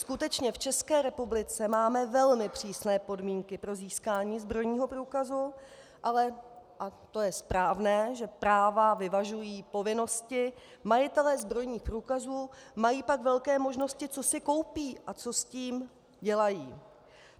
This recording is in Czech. Skutečně v České republice máme velmi přísné podmínky pro získání zbrojního průkazu, ale, a to je správné, že práva vyvažují povinnosti, majitelé zbrojních průkazů mají pak velké možnosti, co si koupí a co s tím dělají.